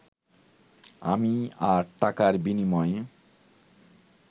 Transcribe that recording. আমি আর টাকার বিনিময়ে